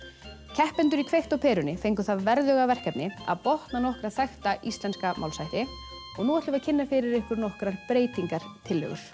keppendur í kveikt á perunni fengu það verðuga verkefni að botna nokkra þekkta íslenska málshætti og nú ætlum við að kynna fyrir ykkur nokkrar breytingartillögur